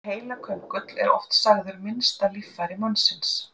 Heilaköngull er oft sagður minnsta líffæri mannsins.